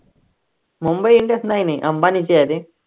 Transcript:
Mumbai Indians नाही नाही अंबानीची आहे रे